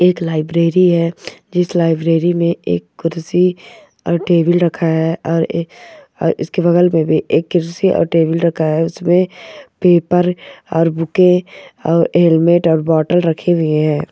एक लाइब्रेरी है जिस लाइब्रेरी में एक कुर्सी और टेबल रखा है और इसके बगल में भी एक कुर्सी और टेबल रखा है उसमें पेपर और बुके और हेलमेट और बोतल रखी हुई हैं।